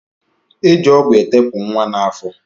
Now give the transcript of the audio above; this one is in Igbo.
E ji ọgwụ etepu nwa n'afọ